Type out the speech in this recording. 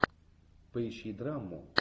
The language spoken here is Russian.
поищи драму